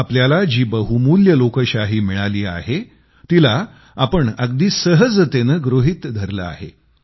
आपल्याला जी बहुमूल्य लोकशाही मिळाली आहे तिला आपण अगदी सहजतेनं गृहीत धरलं आहे